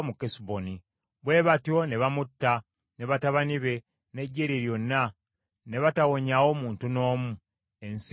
Bwe batyo ne bamutta, ne batabani be, n’eggye lye lyonna, ne batawonyaawo muntu n’omu . Ensi ye ne bagirya.